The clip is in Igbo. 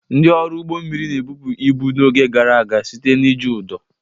Ndị ọrụ ụgbọ mmiri na-ebupụ ibu n'oge gara aga site na iji ụdọ.